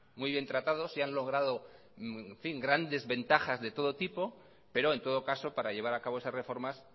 muy bien tratados y han logrados grandes ventajas de todo tipo pero en todo caso para llevar a cabo estas reformas